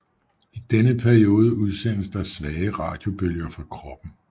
I denne periode udsendes der svage radiobølger fra kroppen